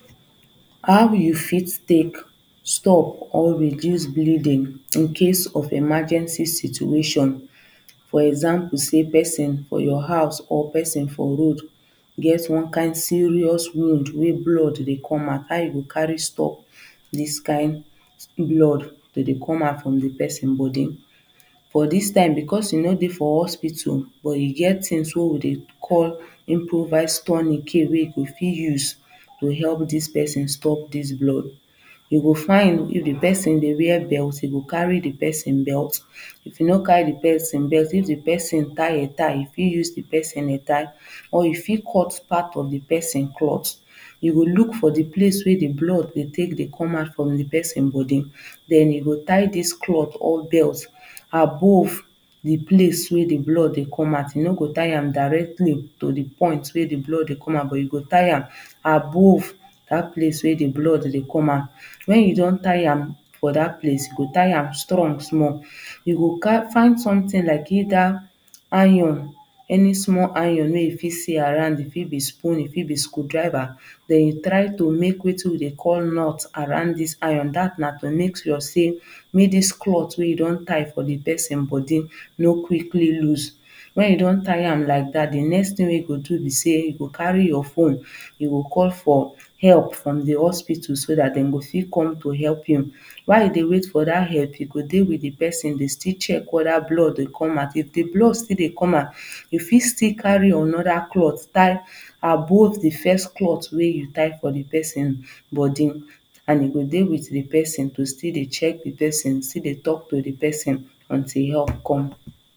How you fit take stop or reduce bleeding incase of emergency situation for example say person for your house or person for road get one kind serious wound wey blood dey come out, how you go carry stop this kind blood to dey come out from the person body for this time because e no dey for hospital but e get things wey we dey call improvise tourniquet you go fit use to help this person stop this blood you go find if the person dey wear belt you go carry the person belt if you no carry the pesin belt if the person tie headtie you fit use the person headtie or you for cut part of the person clothe you go look for the place wey the blood take dey come out from the person body then you go tie this clothe or belt above the place wey dey blood dey come out you no go tie am directly to the point wey the blood dey come out but you go tie am above that place wey the blood dey come out. When you don tie am for that place you go tie am strong small. You go find something like either iron any small iron wey you fit see around e fit be soon e fit be screw driver then you try make wetin we dey call nut around this iron that na to make sure sey make this clothe wey you don tie for the person body no quickly loose when you don tie am like that the next thing wey you go do be say you go carry your phone you go call for help from the hospital so that dem go fit come to help am. Why you dey wait for that help you go dey with the person still check whether blood dey come out if the blood still dey come out you fit still carry another clothe tie above the first clothe wey you tie for the person body and you go dey with the person to still dey check the person you go still dey talk to the person untill help come